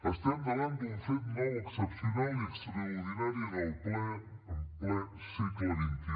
estem davant d’un fet nou excepcional i extraordinari en ple segle xxi